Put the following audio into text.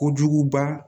Kojuguba